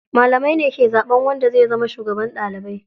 Malamai ne ke zaɓan wanda zai zama shugaban ɗalibai.